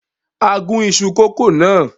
A gún iṣu kòkó náà.